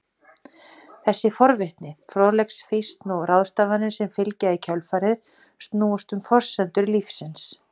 Þessi forvitni, fróðleiksfýsn og ráðstafanir sem fylgja í kjölfarið snúast um forsendur lífsins.